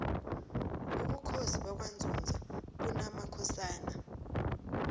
ubukhosi bakwanzunza bunamakhosana